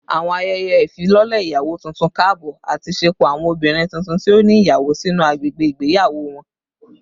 Awọn ayẹyẹ ifilọlẹ iyawo tuntun kaabọ ati ṣepọ awọn obinrin tuntun ti o ni iyawo sinu agbegbe igbeyawo wọn